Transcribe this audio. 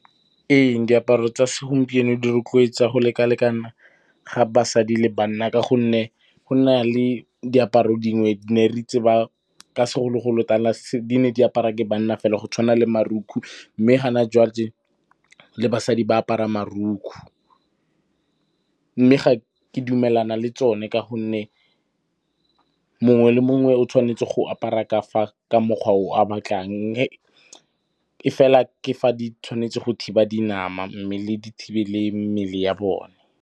Ee, diaparo tsa segompieno di rotloetsa go lekalekana ga basadi le banna ka gonne go na le diaparo dingwe ne re tseba ka segolo-golo tala di ne di apara ke banna fela go tshwana le marukgu, mme hana le basadi ba apara marukgu, mme ga ke dumelana le tsone ka gonne mongwe le mongwe o tshwanetse go apara ka fa ka mokgwa o a batlang, efela ke fa di tshwanetse go thiba dinama, mme di thibele mmele ya bona.